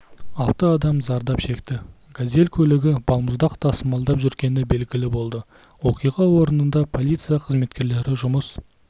алты адам зардап шекті газель көлігі балмұздақ тасымалдап жүргені белгілі болды оқиға орнынада полиция қызметкерлері жұмыс